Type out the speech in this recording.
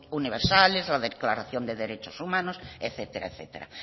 universales o declaración de derechos humanos etcétera etcétera